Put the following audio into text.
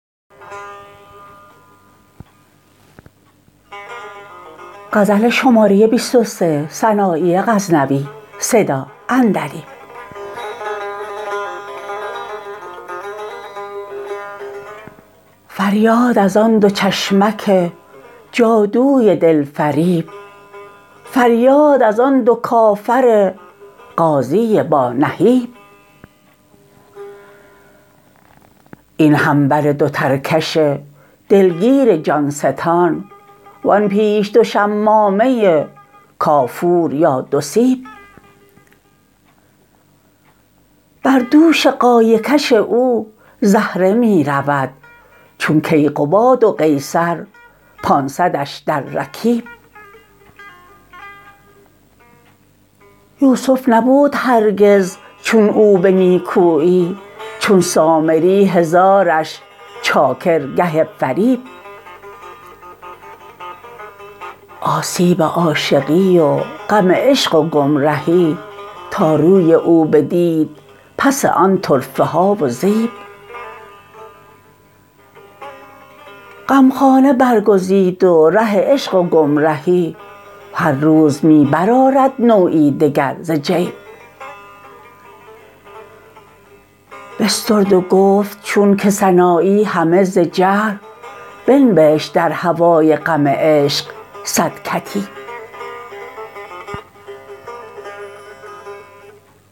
فریاد از آن دو چشمک جادوی دلفریب فریاد از آن دو کافر غازی با نهیب این همبر دو ترکش دلگیر جان ستان وان پیش دو شمامه کافور یا دو سیب بردوش غایه کش او زهره می رود چون کیقباد و قیصر پانصدش در رکیب یوسف نبود هرگز چون او به نیکویی چون سامری هزارش چاکر گه فریب آسیب عاشقی و غم عشق و گمرهی تا روی او بدید پس آن طرفه ها و زیب غمخانه برگزید و ره عشق و گمرهی هر روز می برآرد نوعی دگر ز جیب بسترد و گفت چون که سنایی همه ز جهل بنبشت در هوای غم عشق صد کتیب